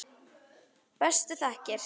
Bestu þakkir.